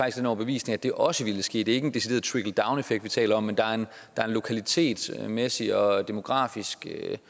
af den overbevisning at det også vil ske det er ikke en decideret trickledowneffekt vi taler om men der er en lokalitetsmæssig og demografisk